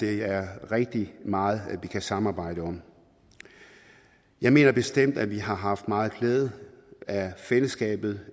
er rigtig meget vi kan samarbejde om jeg mener bestemt at vi har haft meget glæde af fællesskabet